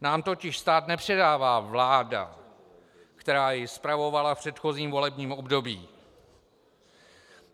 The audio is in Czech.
Nám totiž stát nepředává vláda, která jej spravovala v předchozím volebním období.